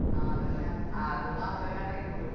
ആഹ് അതെന്നെ അത് മാത്രേ ഞൻ കൈക്കൂളു